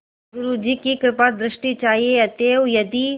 बस गुरु जी की कृपादृष्टि चाहिए अतएव यदि